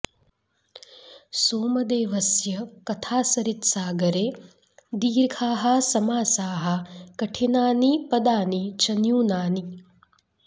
सोमदेवस्य कथासरित्सागरे दीर्धाः समासाः कठिनानि पदानि च न्यूनानि